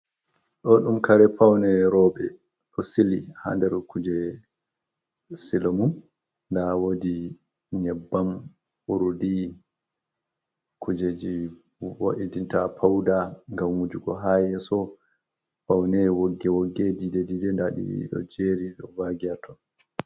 Ɗo ɗum kare paune roɓe ɗo sili ha ndar kuje sili mum nda wodi nyebbam urdi kujeji wo'itinta pauda ngam wujugo ha yeso paune wogge wogge dide dide nda ɗiɗo ɗo jerii vaagi haton.